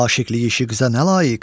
aşıqlıq işiqzə nə layiq.